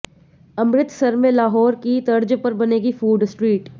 अमृतसर में लाहौर की तर्ज पर बनेगी फूड स्ट्रीट